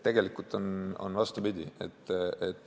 Tegelikult on vastupidi.